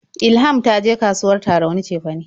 Ilham ta je kasuwar Tarauni cefane.